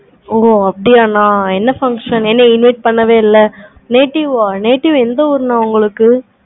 ஓ அப்படியான என்ன function? என்ன meet பண்ணவே இல்லை. native ஆஹ் நா? native எந்த place?